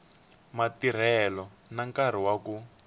matirhelo na nkarhi wa ku